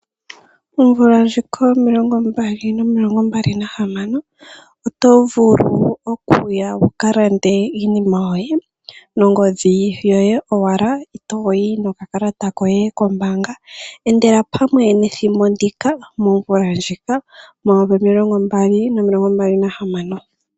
Omvula ndjika yo mayovi gaali nomilongo mbali na hamano, oto vulu okuya wukalande iinima yoye nongodhi yoye owala, itooyi noka kalata koye kombaanga. Endela pamwe nethimbo ndika momvula ndjika yomayovi gaali nomilongo mbali na hamano.